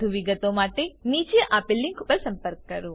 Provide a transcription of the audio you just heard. વધુ વિગતો માટે contactspoken tutorialorg પર સંપર્ક કરો